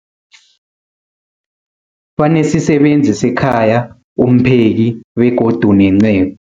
Banesisebenzi sekhaya, umpheki, begodu nenceku.